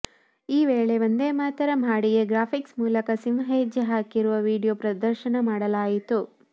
ಈ ವೇಳೆ ವಂದೇಮಾತರಂ ಹಾಡಿಗೆ ಗ್ರಾಫಿಕ್ಸ್ ಮೂಲಕ ಸಿಂಹ ಹೆಜ್ಜೆ ಹಾಕಿರುವ ವೀಡಿಯೋ ಪ್ರದರ್ಶನ ಮಾಡಲಾಯಿತು